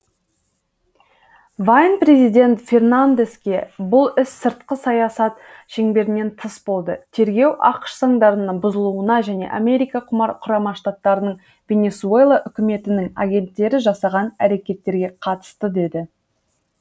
вайн президент фернандеске бұл іс сыртқы саясат шеңберінен тыс болды тергеу ақш заңдарының бұзылуына және америка құрама штаттарындағы венесуэла үкіметінің агенттері жасаған әрекеттерге қатысты деді